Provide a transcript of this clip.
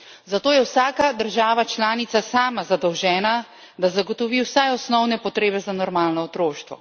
Zato je vsaka država članica sama zadolžena, da zagotovi vsaj osnovne potrebe za normalno otroštvo.